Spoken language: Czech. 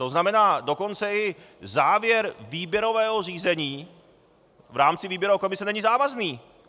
To znamená, dokonce i závěr výběrového řízení v rámci výběrové komise není závazný.